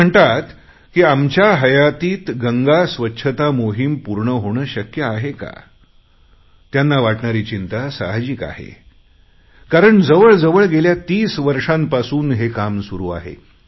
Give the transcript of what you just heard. ते म्हणतात की आमच्या हयातीत गंगास्वच्छता मोहिम पूर्ण होणे शक्य आहे का त्यांना वाटणारी चिंता साहाजिक आहे कारण जवळजवळ गेल्या तीस वर्षांपासूनच हे काम सुरु आहे